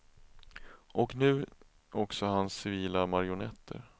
Och nu också hans civila marionetter.